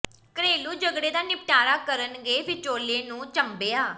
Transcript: ਘਰੇਲੂ ਝਗੜੇ ਦਾ ਨਿਪਟਾਰਾ ਕਰਨ ਗਏ ਵਿਚੋਲੇ ਨੂੰ ਝੰਬਿਆ